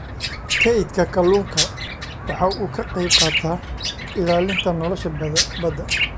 Kaydka kalluunka waxa uu ka qayb qaataa ilaalinta nolosha badda.